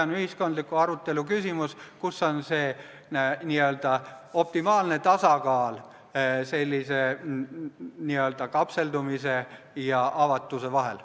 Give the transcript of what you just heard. On ühiskondliku arutelu küsimus, milline on see n-ö optimaalne tasakaal sellise kapseldumise ja avatuse vahel.